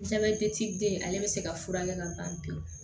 Jabɛti den ale bɛ se ka furakɛ ka ban pewu